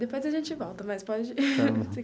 Depois a gente volta, mas pode.